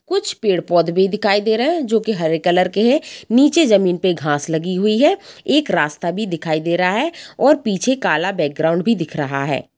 कुछ पेड़-पौध भी दिखाई दे रहे हैं जो की हरे कलर के हैं नीचे जमीन पे घांस लगी हुई है एक रास्ता भी दिखाई दे रहा है और पीछे काला बैकग्राउंड भी दिख रहा है।